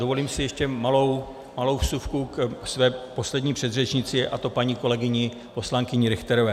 Dovolím si ještě malou vsuvku ke své poslední předřečnici, a to paní kolegyni poslankyni Richterové.